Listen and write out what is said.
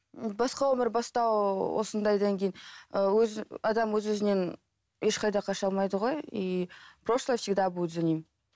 басқа өмір бастау осындайдан кейін ыыы өз адам өз өзінен ешқайда қаша алмайды ғой и прошлое всегда будет за ним